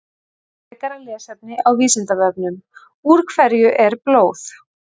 Frekara lesefni á Vísindavefnum: Úr hverju er blóð?